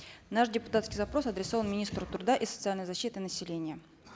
наш депутатский запрос адресован министру труда и социальной защиты населения